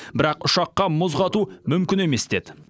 бірақ ұшаққа мұз қату мүмкін емес деді